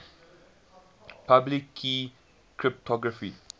public key cryptography